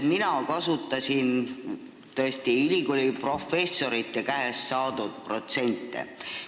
Mina kasutasin tõesti ülikooli professorite käest saadud protsente.